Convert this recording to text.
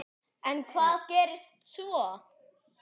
En hvað gerist svo?